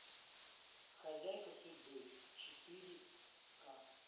хозяйка судьбы четыре ка